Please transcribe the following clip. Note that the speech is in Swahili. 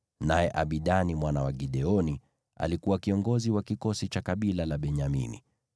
naye Abidani mwana wa Gideoni alikuwa kiongozi wa kikosi cha kabila la Benyamini.